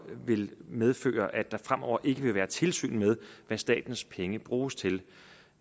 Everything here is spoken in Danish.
vil medføre at der fremover ikke vil være tilsyn med hvad statens penge bruges til